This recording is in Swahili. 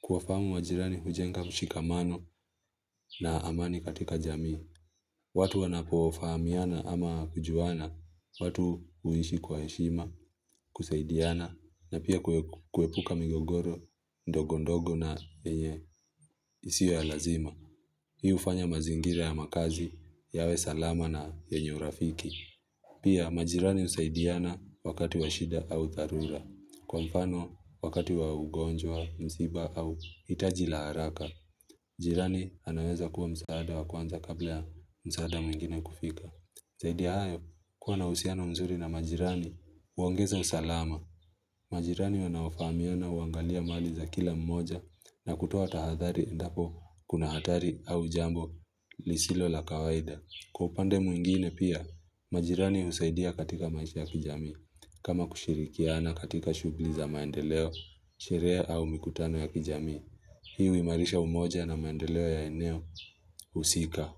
Kuwa fahamu majirani hujenga mshikamano na amani katika jamii. Watu wanapofahamiana ama kujuana, watu huishi kwa heshima, kusaidiana, na pia kuepuka migogoro, ndogo ndogo na yenye isiyo ya lazima. Hii ufanya mazingira ya makazi yawe salama na yenye urafiki. Pia majirani husaidiana wakati wa shida au dharula. Kwa mfano wakati wa ugonjwa, msiba au hitaji a haraka, jirani anaweza kuwa msaada wa kwanza kabla ya msaada mwingine kufika. Zaidia ya hayo kuwa na uhusiano mzuri na majirani, huongeza usalama. Majirani wanafaofahamiana uangalia mali za kila mmoja na kutoa tahathari endapo kuna hatari au jambo lisilo la kawaida. Kwa upande mwingine pia, majirani husaidia katika maisha ya kijami. Kama kushirikiana katika shughuli za maendeleo, sherehe au mikutano ya kijamii Hi huimarisha umoja na maendeleo ya eneo husika.